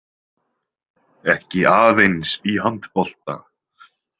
Ekki aðeins í handbolta.